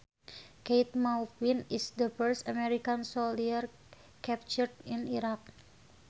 Keith Maupin is the first American soldier captured in Iraq